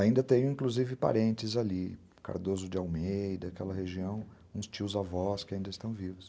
Ainda tenho, inclusive, parentes ali, Cardoso de Almeida, aquela região, uns tios e avós que ainda estão vivos.